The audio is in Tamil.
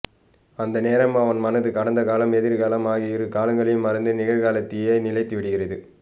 அந்த நேரம் அவன் மனது கடந்த காலம் எதிர்காலம் ஆகிய இருகாலங்களையும் மறந்து நிகழ்காலத்திலேயே நிலைத்து விடுகிறது